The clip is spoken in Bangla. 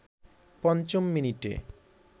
পঞ্চম মিনিটে